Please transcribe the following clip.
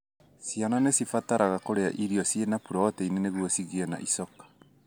Ciana nĩcibataraga kũrĩa irio cĩina proteini nĩgũo cigĩe na icoka.